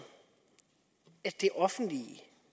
at det offentlige